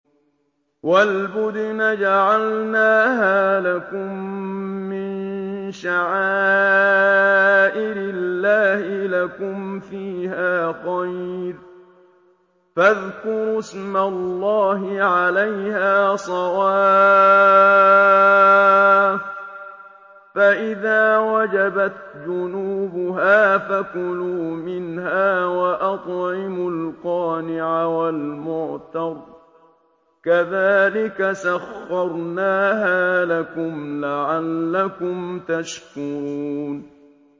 وَالْبُدْنَ جَعَلْنَاهَا لَكُم مِّن شَعَائِرِ اللَّهِ لَكُمْ فِيهَا خَيْرٌ ۖ فَاذْكُرُوا اسْمَ اللَّهِ عَلَيْهَا صَوَافَّ ۖ فَإِذَا وَجَبَتْ جُنُوبُهَا فَكُلُوا مِنْهَا وَأَطْعِمُوا الْقَانِعَ وَالْمُعْتَرَّ ۚ كَذَٰلِكَ سَخَّرْنَاهَا لَكُمْ لَعَلَّكُمْ تَشْكُرُونَ